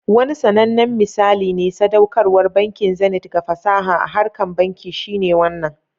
Wani sanannen misali na sadaukarwar bankin Zenith ga fasaha a harkar banki shine wannan.